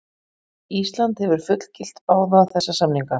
Ísland hefur fullgilt báða þessa samninga.